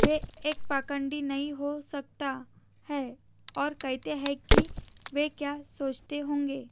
वे एक पाखंडी नहीं हो सकता है और कहते हैं कि वे क्या सोचते होंगे